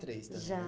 três anos né? Já